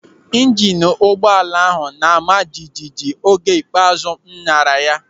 Ịjinu ụgbọala ahụ na-ama jijiji oge ikpeazụ m nyara ya.